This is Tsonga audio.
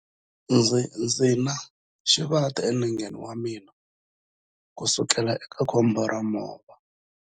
Ndzi na xivati enengeni wa mina kusukela eka khombo ra movha.